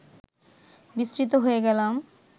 বিস্মৃত হয়ে গেলাম